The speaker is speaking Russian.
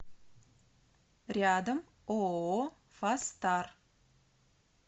рядом ооо фастар